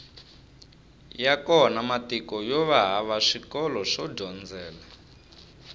ya kona matiko yova hava swikolo swo dyondzela